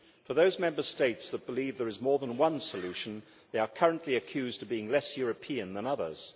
Those Member States who believe there is more than one solution are currently accused of being less European than others.